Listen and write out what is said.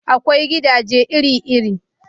Akwai gidaje iri-iri